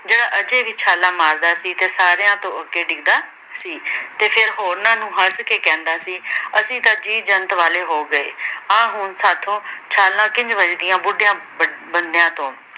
ਜਿਹੜਾ ਅਜੇ ਵੀ ਛਾਲ਼ਾਂ ਮਾਰਦਾ ਸੀ ਤੇ ਸਾਰਿਆਂ ਤੋਂ ਅਗੇ ਡਿਗਦਾ ਸੀ। ਤੇ ਫਿਰ ਹੋਰਨਾਂ ਨੂੰ ਹੱਸ ਕੇ ਕਹਿੰਦਾ ਸੀ ਅਸੀਂ ਤਾਂ ਜੀ-ਜੰਤ ਵਾਲੇ ਹੋ ਗਏ। ਆਹ ਹੁਣ ਸਾਥੋਂ ਛਾਲ਼ਾਂ ਕਿੰਝ ਵੱਜਦੀਆਂ ਬੁਢਿਆਂ ਬ ਬੰਦਿਆਂ ਤੋਂ